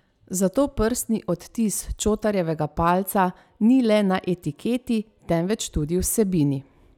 Zato prstni odtis Čotarjevega palca ni le na etiketi, temveč tudi v vsebini!